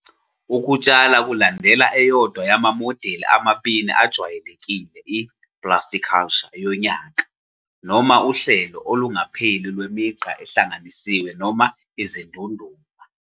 Ukutshala kulandela eyodwa yamamodeli amabili ajwayelekile - i-plasticulture yonyaka, noma uhlelo olungapheli lwemigqa ehlanganisiwe noma izindunduma.